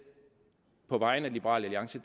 på vegne af liberal alliance